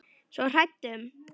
Svo hrædd um.